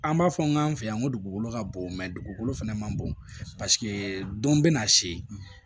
An b'a fɔ n k'an fɛ yan ko dugukolo ka bon dugukolo fɛnɛ ma bon paseke don bɛna se